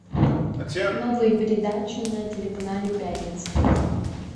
новые передачи на телеканале пятница